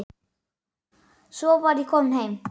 Svo var ég komin heim.